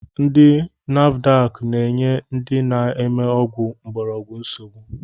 Ndi nafudak na-enye ndị na-eme ọgwụ mgborogwu nsogbu